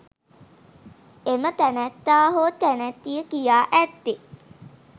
එම තැනැත්තා හෝ තැනැත්තිය කියා ඇත්තේ